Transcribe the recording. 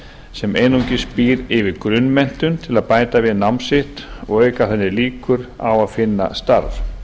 sem einungis býr yfir grunnmenntun til að bæta við nám sitt og auka þannig líkur á að finna starf